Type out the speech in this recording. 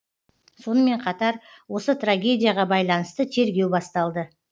сонымен қатар осы трагедияға байланысты тергеу басталды